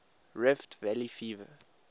rift valley fever